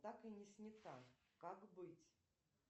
так и не снята как быть